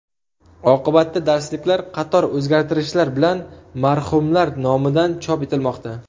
Oqibatda darsliklar qator o‘zgartirishlar bilan marhumlar nomidan chop etilmoqda”.